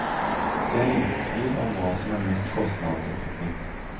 Det er liten tvil om hva som er mest kostnadseffektivt.